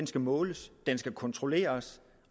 skal måles den skal kontrolleres